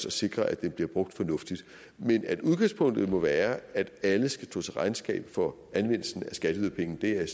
at sikre at den bliver brugt fornuftigt men at udgangspunktet må være at alle skal stå til regnskab for anvendelsen af skatteyderpenge er jeg